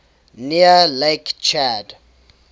near lake chad